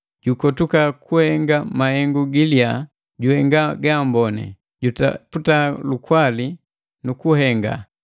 “Jukotuka kuhenga mahengu giliya, juhenga gaamboni, jutaputa lukwali nu kuhenga.